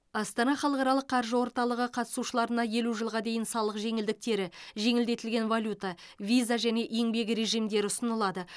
астана халықаралық қаржы орталығы қатысушыларына елу жылға дейін салық жеңілдіктері жеңілдетілген валюта виза және еңбек режимдері ұсынылады